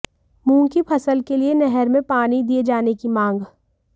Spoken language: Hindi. मूंग की फसल के लिए नहर में पानी दिए जाने की मांग